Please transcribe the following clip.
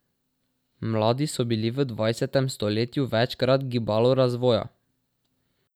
Mladi so bili v dvajsetem stoletju večkrat gibalo razvoja.